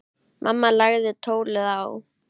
Mamma lagði tólið á.